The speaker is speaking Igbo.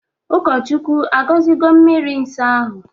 Ụkọchukwu agozigo mmiri nsọ ahụ?